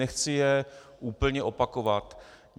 Nechci je úplně opakovat.